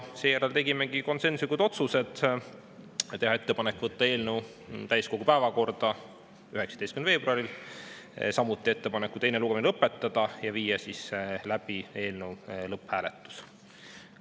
Seejärel tegimegi konsensuslikud otsused: tehti ettepanek võtta eelnõu täiskogu päevakorda 19. veebruariks, samuti tehti ettepanek teine lugemine lõpetada ja viia läbi eelnõu lõpphääletus.